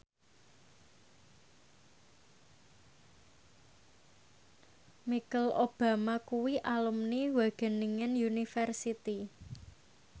Michelle Obama kuwi alumni Wageningen University